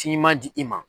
Ci ɲuman di i ma